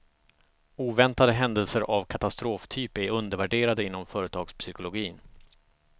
Oväntade händelser av katastroftyp är undervärderade inom företagspsykologin.